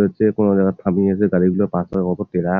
ধরছে কোন জায়গায় থামিয়ে হচ্ছে যে গাড়িগুলো পাথরের মত ট্রাক ।